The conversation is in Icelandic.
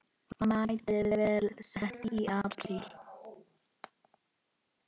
Metið var sett í apríl.